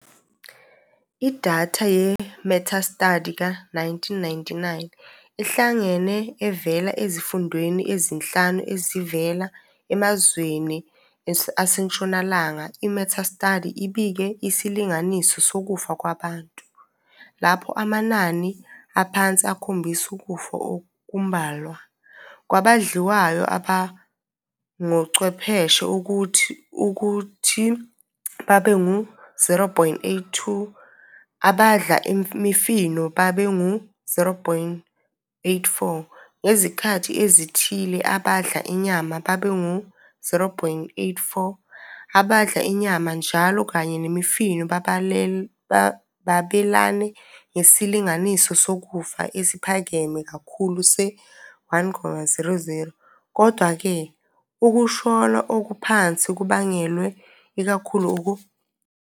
Idatha ye-metastudy ka-1999 ihlangene evela ezifundweni ezinhlanu ezivela emazweni asentshonalanga. I-metastudy ibike isilinganiso sokufa kwabantu, lapho amanani aphansi akhombise ukufa okumbalwa, kwabadliwayo abangochwepheshe ukuthi babe ngu-0.82, abadla imifino babe ngu-0.84, ngezikhathi ezithile abadla inyama babe ngu-0.84. Abadla inyama njalo kanye nemifino babelane ngesilinganiso sokufa esiphakeme kakhulu se-1.00. Kodwa-ke, "ukushona okuphansi kubangelwe ikakhulu ukusabalala okuphansi kokubhema kulawa maqembu ".